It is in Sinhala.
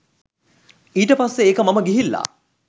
ඊට පස්සේ ඒක මම ගිහිල්ලා